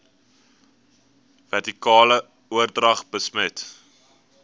vertikale oordrag besmet